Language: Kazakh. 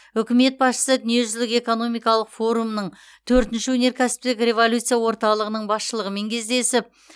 үкімет басшысы дүниежүзілік экономикалық форумның төртінші өнеркәсіптік революция орталығының басшылығымен кездесіп